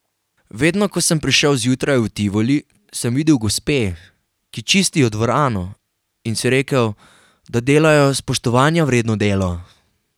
Vedno, ko sem prišel zjutraj v Tivoli, sem videl gospe, ki čistijo dvorano, in si rekel, da delajo spoštovanja vredno delo.